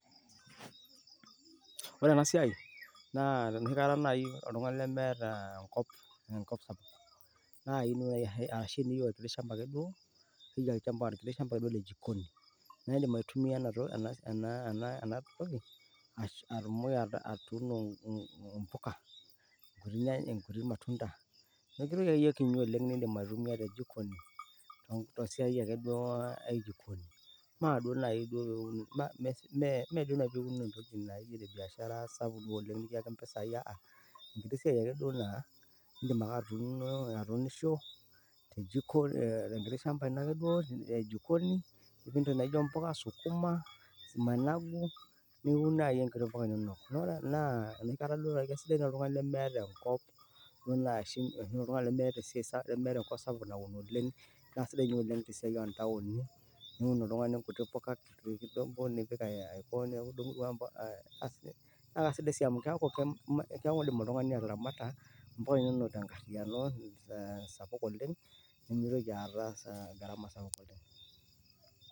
Ore ena siai naa enoshikata naaji oltung`ani lemeeta enkop, enkop sapuk. Naa idim naaji ashu teniyieu olkiti shamba ake duo naa iyieu olkiti shamba ake duo le jikoni. Naa idim aitumia ena, ena ena enatoki, atumoki atuuno mm mpuka. Nkuti nya nkuti matunda enkiti toki akeyie kiti nidim aitumia te jikoni mme duo naaji pee uni , mme mme duo naaji pee iun entoki naijo ene biashara sapuk duo oleng nikiyaki mpisai aaa. Enkiti ake siai naa idim atuuno atuunisho te jiko enkiti shamba ake duo ino e jikoni niun naaji nkuti puka, sukuma, managu niun naaji nkuti puka inonok. Naa enoshi kata duo naaji keisidai oltung`ani lemeeta enkop ashu oltung`ani lemeeta esiai lemeeta enkop sapuk naun oleng. Naa sidai ninye oleng te siai oo ntaoni niun oltung`ani nkuti puka ewueji kidogo. Assi naa kesidai sii amu keaku idim oltung`ani ataramata mpuka inonok te nkariyiano sapuk oleng nimitoki aata gharama sapuk oleng.